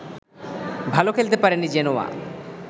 ভালো খেলতে পারেনি জেনোয়া